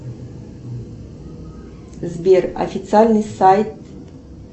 сбер официальный сайт